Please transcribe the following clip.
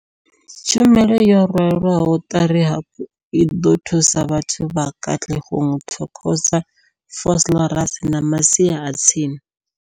Tshumelo yo rwelwaho ṱari hafhu i ḓo thusa vhathu vha Katlehong, Thokoza, Vosloorus na masia a tsini.